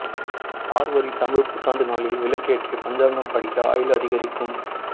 சார்வரி தமிழ் புத்தாண்டு நாளில் விளக்கேற்றி பஞ்சாங்கம் படிங்க ஆயுள் அதிகரிக்கும்